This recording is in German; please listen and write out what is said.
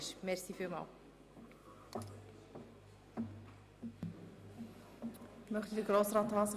Wünscht der Postulant noch einmal das Wort?